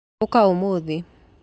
Ũka ũmũthĩ